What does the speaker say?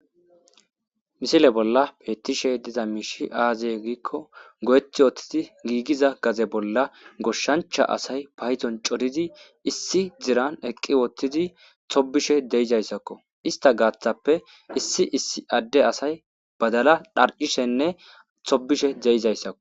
Misile bolla peettishe diza miishi aazey giikko go'eti woottidi giigiza gaze bolla goshshancha asay payzon coridi issi ziran eqqi woottidi tobishe deizayssakko ista gaaththappe issi issi adde asay badala dharcishenne thobishe deyizayssakko